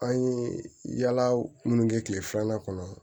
An ye yaala minnu kɛ kile filanan kɔnɔ